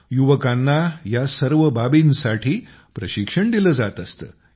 युवकांना या सर्व बाबींसाठी प्रशिक्षण दिलं जात असतं